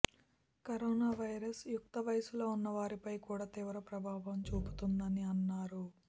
corona virus యుక్త వయసులో ఉన్న వారిపై కూడా తీవ్ర ప్రభావం చూపుతుందని అన్నారు